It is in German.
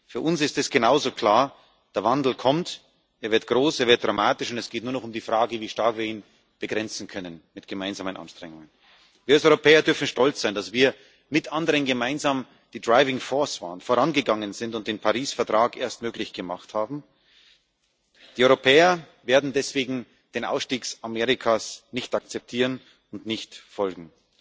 Für uns ist es genauso klar Der Wandel kommt, er wird groß, er wird dramatisch, und es geht nur noch um die Frage, wie stark wir ihn mit gemeinsamen Anstrengungen begrenzen können. Wir als Europäer dürfen stolz sein, dass wir mit anderen gemeinsam die driving force waren, vorangegangen sind und den Paris Vertrag erst möglich gemacht haben. Die Europäer werden deswegen den Ausstieg Amerikas nicht akzeptieren und dem nicht folgen.